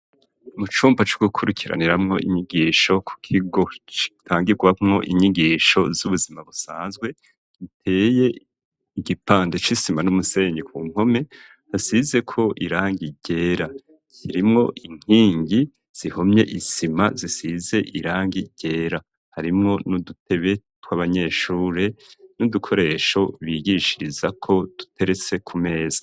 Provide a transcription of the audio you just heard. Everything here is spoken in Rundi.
Mu cumba c'ugukurikiraniramwo inyigisho ku kigo citangirwamwo inyigisho z'ubuzima busanzwe giteye igipande c'isima n'umusenyi ku mpome hasizeko irangi ryera ,kirimwo inkingi zihomye isima zisize irangi ryera harimwo n'udutebe twa banyeshure n'udukoresho bigishirizako duteretse ku meza.